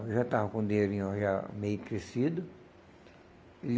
Eu já estava com o dinheirinho já meio crescido. E